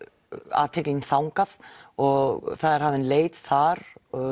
athyglin þangað og það er hafin leit þar